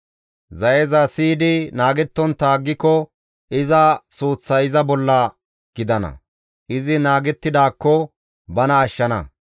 Zayeza siyidi naagettontta aggiko iza suuththay iza bolla gidana; izi naagettidaakko bana ashshana